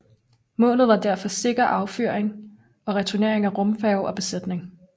Målet var derfor sikker affyring og returnering af rumfærge og besætning